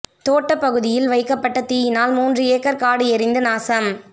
தோட்ட பகுதியில் வைக்கப்பட்ட தீயினால் மூன்று ஏக்கர் காடு எரிந்து நாசம்